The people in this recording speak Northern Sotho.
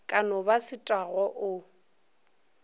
ka no ba setagwa o